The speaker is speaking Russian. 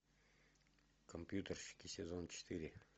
компьютерщики сезон четыре